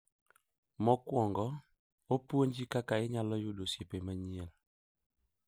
Mokwongo, opuonji kaka inyalo yudo osiepe manyien.